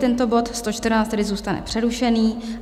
Tento bod 114 tedy zůstane přerušený.